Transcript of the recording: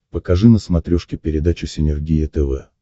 покажи на смотрешке передачу синергия тв